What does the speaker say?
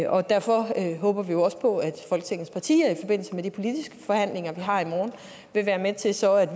og derfor håber vi jo også på at folketingets partier i forbindelse med de politiske forhandlinger vi har i morgen vil være med til så at